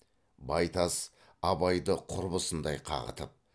байтас абайды құрбысындай қағытып